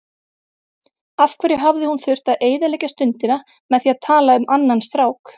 Af hverju hafði hún þurft að eyðileggja stundina með því að tala um annan strák.